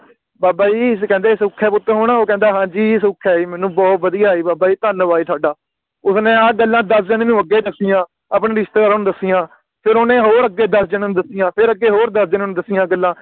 ਬਾਬਾ ਜੀ ਅਸੀਂ ਕਹਿੰਦੇ ਸੁਖ ਏ ਪੁੱਤ ਹੁਣ ਓ ਕਹਿੰਦਾ ਹਾਂਜੀ ਸੁਖ ਹੈ ਜੀ ਮੈਨੂੰ ਬੋਹੋਤ ਵਧੀਆ ਬਾਬਾ ਜੀ ਧੰਨਵਾਦ ਜੀ ਤੁਹਾਡਾ ਉਸਨੇ ਆ ਗੱਲਾਂ ਦਸਦੇ ਹੂਏ ਵੀ ਲਗੇ ਦੱਸੀਆਂ ਆਪਣੇ ਰਿਸ਼ਤੇਦਾਰਾਂ ਨੂੰ ਦੱਸੀਆਂ ਫਿਰ ਓਹਨੇ ਹੋਰ ਅਗੇ ਦਸ ਜਣੇ ਨੂੰ ਦਸੀਆਂ ਫੇਰ ਅਗੇ ਹੋਰ ਦਸ ਜਣੇ ਨੂੰ ਦਸੀਆਂ ਗੱਲਾਂ